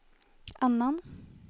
annan